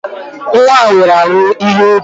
Nwa a nwere ahụ ibu